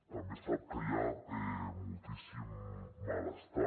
també sap que hi ha moltíssim malestar